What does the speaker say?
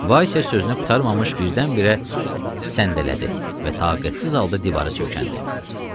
Vaysya sözünü qurtarmamış birdən-birə səndələdi və taqətsiz halda divara söykəndi.